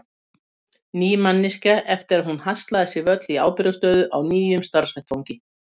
Ný manneskja eftir að hún haslaði sér völl í ábyrgðarstöðu á nýjum starfsvettvangi.